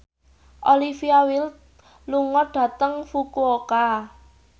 Olivia Wilde lunga dhateng Fukuoka